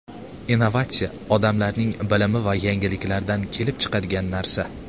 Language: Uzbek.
Innovatsiya odamlarning bilimi va yangiliklaridan kelib chiqadigan narsa.